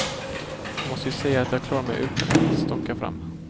Jag måste ju säga att jag klarar mig utan att stånka fram.